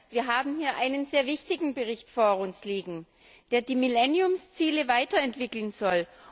Wir haben hier einen sehr wichtigen Bericht vor uns liegen, der die Millenniumsziele weiterentwickeln soll.